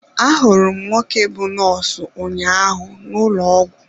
Ahụrụ m nwoke bú nọọsụ ụnyaahụ n'ụlọ ọgwụ.